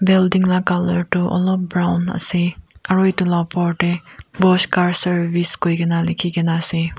building lah colour tu alop brown ase aru etu lah upor teh wash car service koi ki na likhi ke na ase.